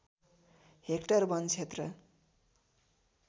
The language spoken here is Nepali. हेक्टर वन क्षेत्र